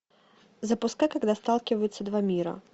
запускай когда сталкиваются два мира